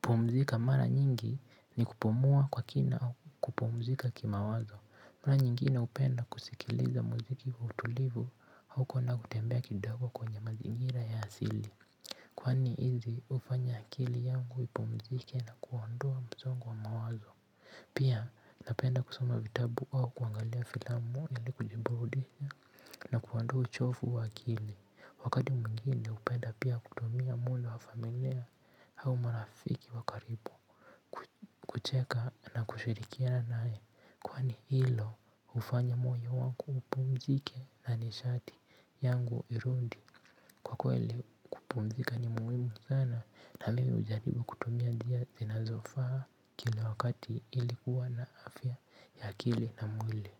pumzika mara nyingi ni kupumua kwa kina au kupumzika kima wazo. Mara nyingine hupenda kusikiliza muziki ulivu au kwenda kutembea kidongo kwenye mazingira ya asili. Kwani hizi hufanya akili yangu ipumzike na kuondoa msongo wa mawazo. Pia napenda kusoma vitabu au kuangalia filamu ili kujibudi na kuondoa uchovu wa akili. Wakati mwingine hupenda pia kutumia mwili wa familia au marafiki wakaribu kucheka na kushirikiana naye. Kwani hilo hufanya moyo wangu upumzike na nishati yangu irudi. Kwa kweli kupumzika ni muhimu sana na mimi hujaribu kutumia njia zinazofaa kila wakati ili kuwa na afya ya akili na mwili.